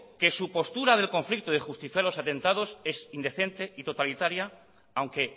que su postura del conflicto de justificar los atentados es indecente y totalitaria aunque